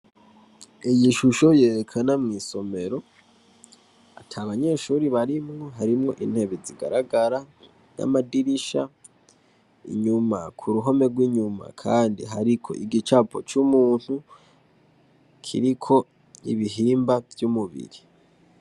Iyi shusho yerekana mw'isomero ata banyeshure barimwo harimwo intebe zigaragara n'amadirisha, inyuma ku ruhome rw'inyuma kandi hariko igicapo c'umuntu kiriko ibihimba vy'umubiri.